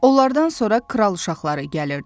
Onlardan sonra kral uşaqları gəlirdi.